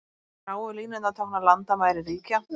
Gráu línurnar tákna landamæri ríkja.